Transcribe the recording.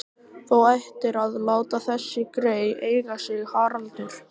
Þú ættir að láta þessi grey eiga sig, Haraldur